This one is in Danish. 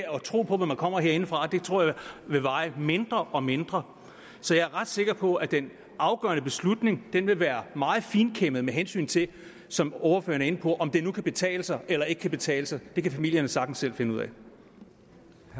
tro på hvad der kommer herindefra tror jeg vil veje mindre og mindre så jeg er sikker på at den afgørende beslutning vil være meget finkæmmet med hensyn til som ordføreren er inde på om det nu kan betale sig eller ikke kan betale sig det kan familierne sagtens selv finde ud